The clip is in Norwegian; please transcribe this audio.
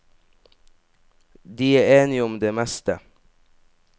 De er enige om det meste.